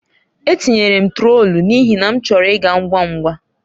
Etinyere m trọtul n'ihi na achọrọ m ịga ngwa ngwa.